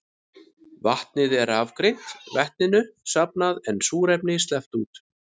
Vatnið er rafgreint, vetninu safnað en súrefni sleppt út.